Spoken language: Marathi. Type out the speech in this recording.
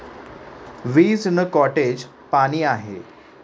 वीज न कॉटेज, पाणी आहे.